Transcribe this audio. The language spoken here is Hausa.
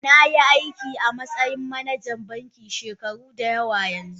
Na yi aiki a matsayin manajan banki shekaru da yawa yanzu